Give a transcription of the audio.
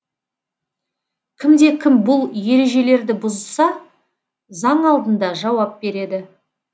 кімде кім бұл ережелерді бұзса заң алдында жауап береді